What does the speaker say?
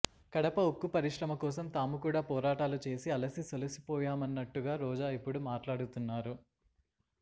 కడప ఉక్కు పరిశ్రమ కోసం తాము కూడా పోరాటాలు చేసి అలసి సొలసిపోయామన్నట్టుగా రోజా ఇప్పుడు మాట్లాడుతున్నారు